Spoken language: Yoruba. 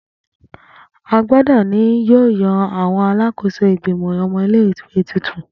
Agbodo ni yoo yan Alakoso Igbimọ ọmọ ile-iwe tuntun.